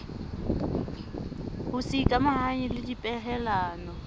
ho se ikamahanye le dipehelano